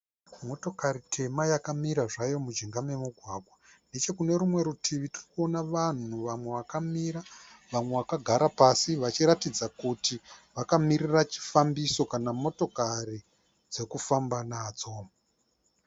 Motokari tema yakamira zvayo mujinga memugwagwa. Nechokunerumwe rutivi tirikuona vanhu vamwe vakamira vamwe vakagara pasi vachiratidza kuti vakamirira chifambiso kana motokari dzekufamba nadzo.